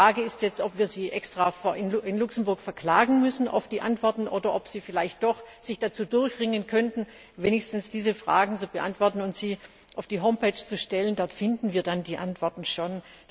Die Frage ist jetzt, ob wir Sie extra in Luxemburg verklagen müssen auf die Antworten oder ob Sie sich vielleicht doch dazu durchringen könnten, wenigstens diese Fragen zu beantworten und die Antworten auf die Homepage zu stellen. Dort finden wir sie dann schon.